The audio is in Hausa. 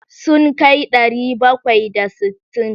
Sun kai ɗari bakwai da sittin.